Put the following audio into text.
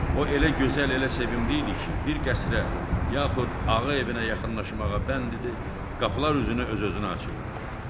O elə gözəl, elə sevimli idi ki, bir qəsrə yaxud ağ evinə yaxınlaşmağa bənd idi, qapılar üzünə öz-özünə açılırdı.